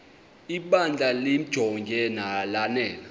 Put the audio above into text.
ibandla limjonge lanele